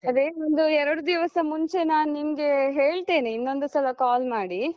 ಅದೇನು ಅಂದ್ರೆ ಎರಡು ದಿವಸ ಮುಂಚೆ ನಾನ್ ನಿಮ್ಗೆ ಹೇಳ್ತೇನೆ ಇನ್ನೊಂದು ಸಲ call ಮಾಡಿ.